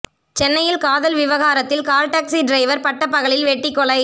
சென்னையில் காதல் விவகாரத்தில் கால் டாக்சி டிரைவர் பட்ட பகலில் வெட்டி கொலை